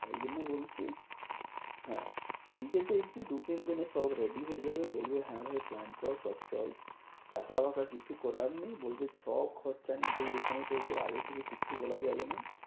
তাই জন্য বলছি হ্যাঁ নিজেদের কি দু তিন দিনে সব ready হয়ে যাবে বলবে হ্যাঁ ভাই plan কর সব চল। টাকা বাকা কিছু করার নেই বলবে সব খরচা নিজে এখানে দেবে আগে থেকে কিছু বলা যাবে না।